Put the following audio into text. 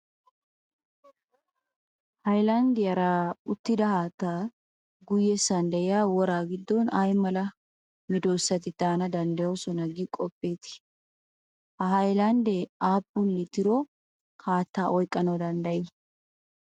Hayilanddiyaara uttida haatta guyyessan diya woraa giddon ay mala medossati daana danddayyosona gi qoppeetii? Ha hayilanddee aappun litiro haatta oyikkanawu danddayii?